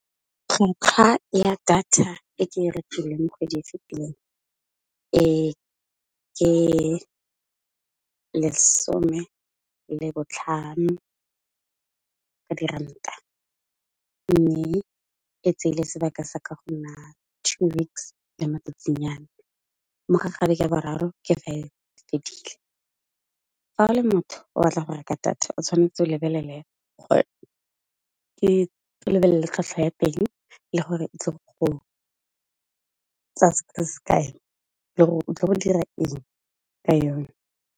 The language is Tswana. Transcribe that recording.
Tlhotlha ya data e ke e rekileng kgwedi e fitileng ke e lesome le botlhano ka diranta, mme e tseile sebaka se ka go nna two weeks le matsatsinyana mo ga gare ya boraro ke fa e fedile. Fa e le motho o batla go reka data o tshwanetse ke lebelele tlhatlhwa ya teng le gore e tlile go tsaya sebaka se se kae le gore o tlo go dira eng ka yone.